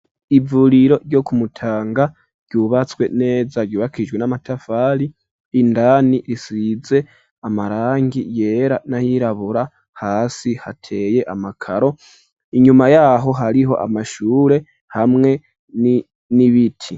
Ivuriro ryo kumutanga ryubatswe neza ryubakijwe n'amatafari indani risize amarangi yera n'ayirabura hasi hateye amakaro inyuma yaho hariho amashure hamwe n'ibiti.